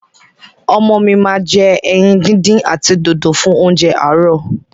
Ọmọ mi ma jẹ ẹyin díndín àti dòdò fún óúnjẹ àárò.